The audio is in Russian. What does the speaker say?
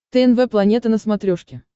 тнв планета на смотрешке